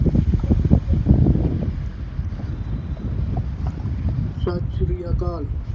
ਸਤਿ ਸ੍ਰੀ ਅਕਾਲ।